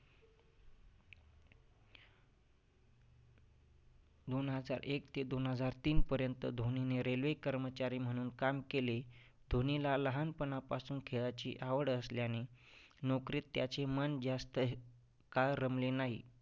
दोन हजार एक ते दोन हजार तीनपर्यंत धोनीने railway कर्मचारी म्हणून काम केले. धोनीला लहानपणापासून खेळाची आवड असल्याने नौकरीत त्याचे मन जास्त काळ रमले नाही.